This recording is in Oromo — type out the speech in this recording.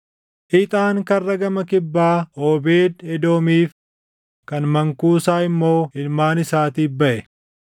Ixaan Karra gama kibbaa Oobeed Edoomiif, kan mankuusaa immoo ilmaan isaatiif baʼe.